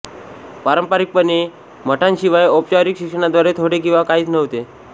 पारंपारिकपणे मठांशिवाय औपचारिक शिक्षणाद्वारे थोडे किंवा काहीच नव्हते